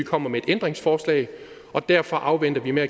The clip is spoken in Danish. kommer med et ændringsforslag derfor afventer vi med